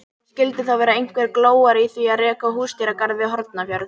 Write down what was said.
En skildi þá vera einhver glóra í því að reka húsdýragarð við Hornafjörð?